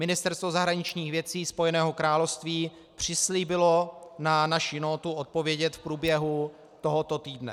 Ministerstvo zahraničních věcí Spojeného království přislíbilo na naši nótu odpovědět v průběhu tohoto týdne.